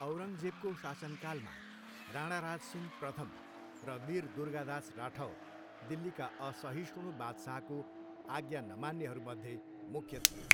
औरङ्गजेबको शासनकालमा राणाराज सिंह प्रथम र वीर दुर्गादास राठौर दिल्लीका असहिष्णु बादशाहको आज्ञा नमान्नेहरूमध्ये मुख्य थिए।